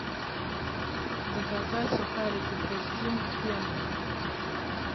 заказать сухарики хрустим к пенному